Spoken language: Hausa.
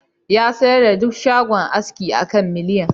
Ya sayar da duk shagon aski a kan miliyan